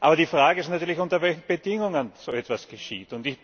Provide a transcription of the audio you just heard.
Aber die Frage ist natürlich, unter welchen Bedingungen so etwas geschieht.